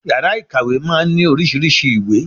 Yàrá ìkàwé máa ń ní oríṣiríṣei ìwé